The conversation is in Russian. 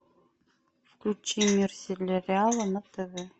включи мир сериала на тв